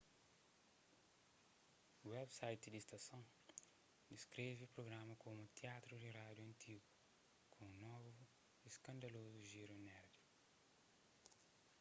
website di stason diskreve prugrama komu teatru di rádiu antigu ku un novu y skandalozu giru nerdi